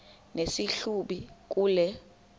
nesi hlubi kule